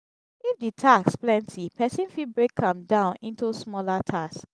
if di tasks plenty person fit break am down into smaller tasks